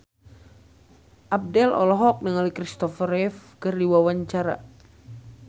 Abdel olohok ningali Kristopher Reeve keur diwawancara